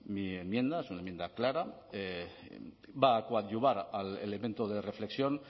mi enmienda es una enmienda clara va a coadyuvar al elemento de reflexión